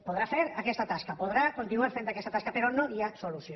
podrà fer aquesta tasca podrà continuar fent aquesta tasca però no hi ha solució